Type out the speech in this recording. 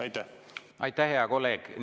Aitäh, hea kolleeg!